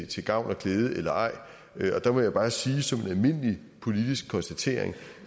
til gavn og glæde eller ej der må jeg bare sige som en almindelig politisk konstatering